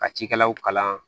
Ka cikɛlaw kalan